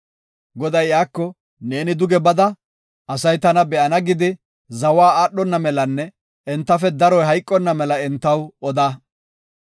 Goday iyako, “Neeni duge bada asay tana be7ana gidi, zawa aadhona melanne entafe daroy hayqonna mela entaw oda.